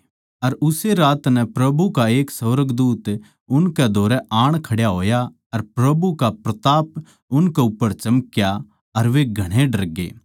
अर उस्से रात नै प्रभु का एक सुर्गदूत उसकै धोरै आण खड्या होया अर प्रभु का प्रताप उसकै चौगरदे नै चमक्या अर वे घणे डरगे